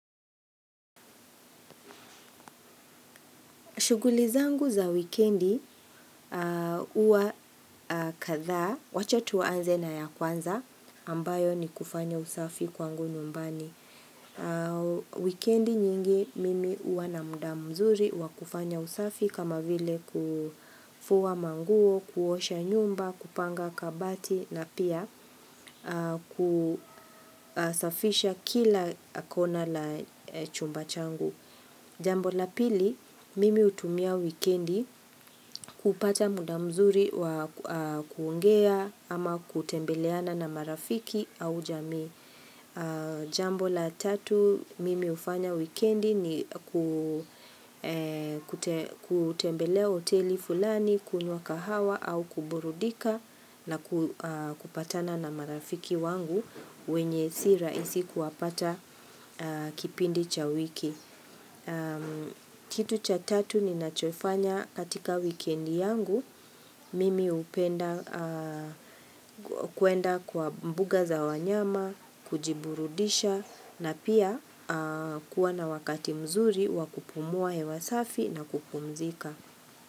Shuguli zangu za wikendi uwa kadhaa, wacha tuanze na ya kwanza ambayo ni kufanya usafi kwangu nyumbani. Wikendi nyingi mimi uwa na muda mzuri wa kufanya usafi kama vile kufuwa manguo, kuosha nyumba, kupanga kabati na pia kusafisha kila kona la chumba changu. Jambo la pili, mimi utumia wikendi kupata muda mzuri wa kuongea ama kutembeleana na marafiki au jamii. Jambo la tatu, mimi ufanya wikendi ni kutembelea hoteli fulani, kunywa kahawa au kuburudika na kupatana na marafiki wangu wenye si raisi kuwapata kipindi cha wiki. Kitu cha tatu ni nachofanya katika wikendi yangu, mimi upenda kuenda kwa mbuga za wanyama, kujiburudisha na pia kuwa na wakati mzuri wakupumua hewasafi na kupumzika.